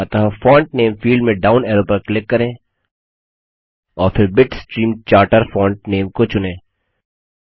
अतः font name field में down arrow पर क्लिक करें और फिर बिटस्ट्रीम चार्टर फॉन्ट नेम को चुनें